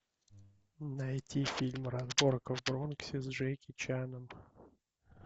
найти фильм разборка в бронксе с джеки чаном